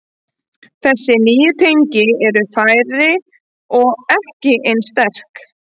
Þessi nýju tengi eru færri og ekki eins sterk.